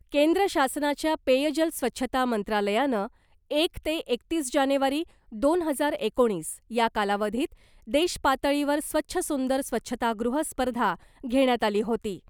केंद्र शासनाच्या पेयजल स्वच्छता मंत्रालयानं एक ते एकतीस जानेवारी दोन हजार एकोणीस या कालावधीत देश पातळीवर स्वच्छ सुंदर स्वच्छतागृह स्पर्धा घेण्यात आली होती .